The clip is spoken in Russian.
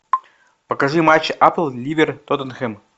покажи матч апл ливер тоттенхэм